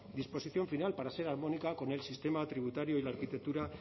disposición final para ser armónica con el sistema tributario y la arquitectura